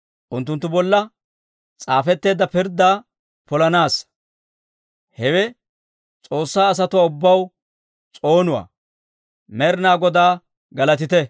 unttunttu bolla s'aafetteedda pirddaa polanaassa. Hewe S'oossaa asatuwaa ubbaw s'oonuwaa. Med'inaa Godaa galatite!